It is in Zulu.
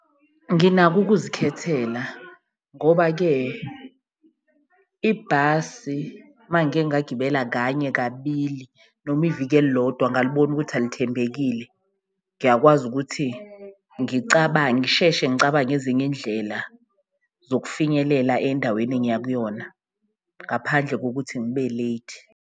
Nginako ukuzikhethela ngoba-ke ibhasi mangibike ngagibela kanye kabili noma iviki elilodwa engalibona ukuthi alithembekile, ngiyakwazi ukuthi ngicabange, ngisheshe ngicabange ezinye indlela zokufinyelela endaweni engiya kuyona, ngaphandle kokuthi ngibe late.